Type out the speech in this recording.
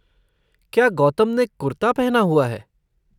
क्या गौतम ने कुर्ता पहना हुआ है?